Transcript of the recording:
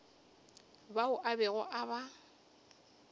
bao a bego a ba